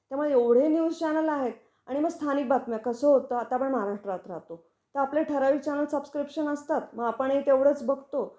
त्यामुळे एवढे news channel आहेत आणि मग स्थानिक बातम्या. कस होता आता आपण महाराष्ट्रात राहतो तर आपले ठराविक चॅनेल्स सब्क्रिपशन असतात मग आपण हि तेवढच बघतो